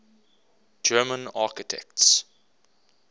german architects